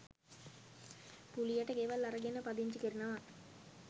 කුලියට ගෙවල් අරගෙන පදිංචි කරනවා